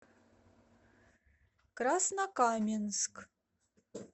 краснокаменск